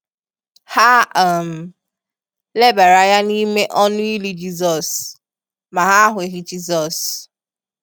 Ha um lebara anya n’ime ọnụ ili Jisọs, ma ha ahụghị Jisọs.